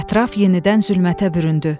Ətraf yenidən zülmətə büründü.